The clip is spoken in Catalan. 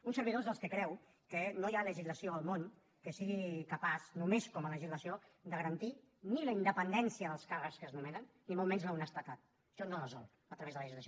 un servidor és dels que creu que no hi ha legislació al món que sigui capaç només com a legislació de garantir ni la independència dels càrrecs que es nomenen ni molt menys l’honestedat això no es resol a través de la legislació